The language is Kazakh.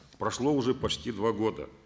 прошло уже почти два года